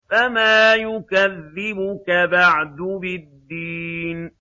فَمَا يُكَذِّبُكَ بَعْدُ بِالدِّينِ